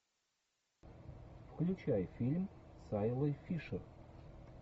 включай фильм с айлой фишер